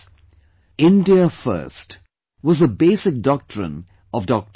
"India First" was the basic doctrine of Dr